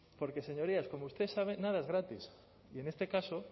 porque señorías como usted sabe nada es gratis y en este caso